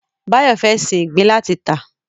Báyọ̀ fẹ́ sin ìgbín láti tà